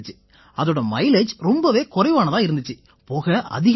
இதோட மைலேஜ் ரொம்பவே குறைவானதா இருந்திச்சு புகை அதிகமா வந்திச்சு